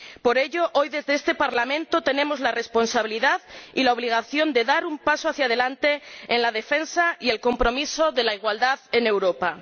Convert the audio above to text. Por ello, hoy, desde este Parlamento, tenemos la responsabilidad y la obligación de dar un paso hacia adelante en la defensa y el compromiso de la igualdad en Europa.